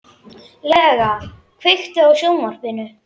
Lea, kveiktu á sjónvarpinu.